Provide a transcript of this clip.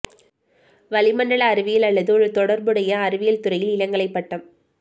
வளிமண்டல அறிவியல் அல்லது ஒரு தொடர்புடைய அறிவியல் துறையில் இளங்கலை பட்டம்